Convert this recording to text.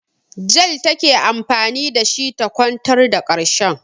Jel take anfani da shi ta kwantar da ƙarshen.